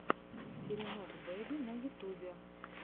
теремок бэби на ютюбе